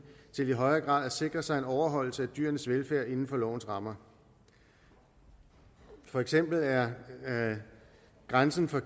til i højere grad at sikre sig en overholdelse af dyrenes velfærd inden for lovens rammer for eksempel er grænsen for